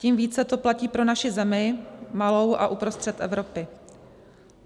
Tím více to platí pro naši zemi, malou a uprostřed Evropy.